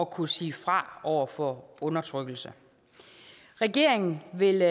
kunne sige fra over for undertrykkelse regeringen vil